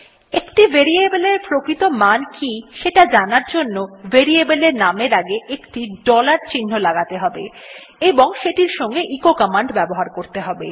একটি ভেরিয়েবল এর প্রকৃত মান কি সেটি জানার জন্য ভেরিয়েবল এর নামের আগে একটি ডলার চিহ্ন লাগাতে হবে এবং সেটির সঙ্গে এচো কমান্ড ব্যবহার করতে হবে